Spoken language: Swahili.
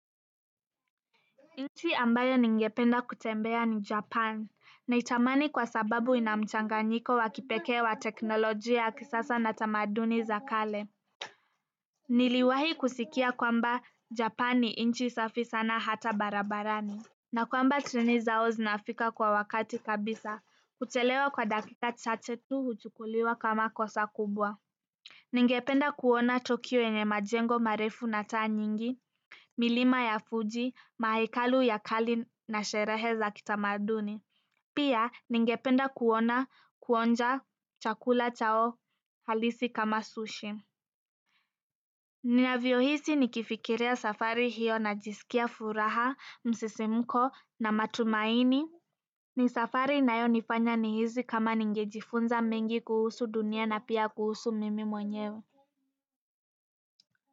Inchi ambayo ningependa kutembea ni japan naitamani kwa sababu ina mchanganyiko wa kipekee wa teknolojia kisasa na tamaduni za kale niliwahi kusikia kwamba japan ni inchi safi sana hata barabarani na kwamba treni zao zinafika kwa wakati kabisa kuchelewa kwa dakika chache tu huchukuliwa kama kosa kubwa ningependa kuona tokyo yenye majengo marefu na taa nyingi milima ya fuji, mahekalu ya kali na sherehe za kitamaduni. Pia ningependa kuona kuonja chakula chao halisi kama sushi. Ninavyohisi nikifikiria safari hiyo najisikia furaha, msisimko na matumaini. Ni safari inayonifanya nihisi kama ningejifunza mengi kuhusu dunia na pia kuhusu mimi mwenyewe.